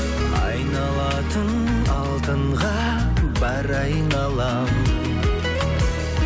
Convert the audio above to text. айналатын алтынға бар айналам